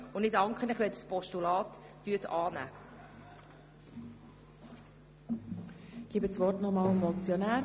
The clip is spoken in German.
Ich danke Ihnen, wenn Sie das Postulat annehmen.